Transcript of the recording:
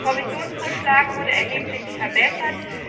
Der Kommissionsvorschlag wurde erheblich verbessert.